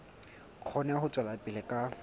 kgone ho tswela pele ka